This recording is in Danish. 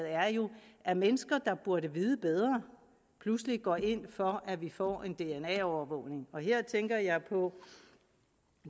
er jo at mennesker der burde vide bedre pludselig går ind for at vi får en dna overvågning her tænker jeg på